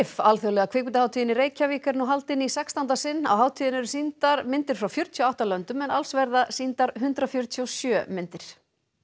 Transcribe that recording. alþjóðlega kvikmyndahátíðin í Reykjavík er nú haldin í sextánda sinn á hátíðinni eru sýndar myndir frá fjörutíu og átta löndum en alls verða sýndar hundrað fjörutíu og sjö myndir